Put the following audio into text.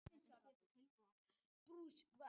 Sigríkur, hvað er á dagatalinu í dag?